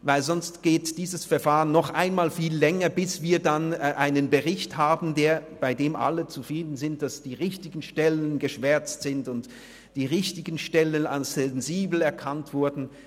Denn sonst dauert dieses Verfahren noch einmal viel länger, bis wir schliesslich einen Bericht haben, bei dem alle zufrieden sind, weil die richtigen Stellen geschwärzt und die richtigen Stellen als sensibel erkannt wurden.